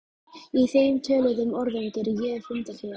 Í þeim töluðum orðum geri ég fundarhlé.